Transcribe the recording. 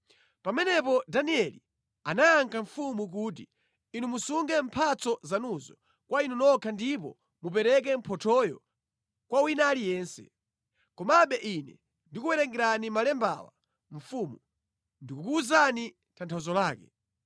Pamenepo Danieli anayankha mfumu kuti, “Inu musunge mphatso zanuzo kwa inu nokha ndipo mupereke mphothoyo kwa wina aliyense. Komabe ine ndi kuwerengerani malembawa mfumu; ndikukuwuzani tanthauzo lake.